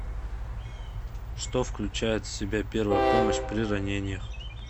что включает в себя первая помощь при ранениях